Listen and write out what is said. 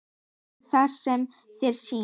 Gerðu það sem þér sýnist.